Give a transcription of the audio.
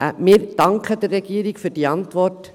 Wir danken der Regierung für die Antwort.